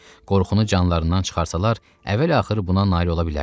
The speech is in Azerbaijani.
Qorxunu canlarından çıxarsalar, əvvəl-axır buna nail ola bilərdilər.